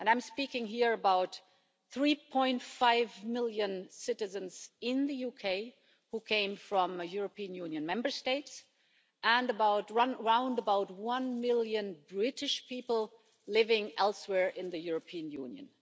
And I am speaking here about 3.5 million citizens in the UK who come from a European Union Member State, and about the roundabout one million British people living elsewhere in the European Union.